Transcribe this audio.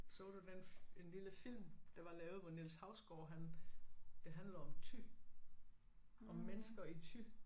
Så den en lille film der var lavet hvor Niels Hausgaard han det handler om Thy om mennesker i Thy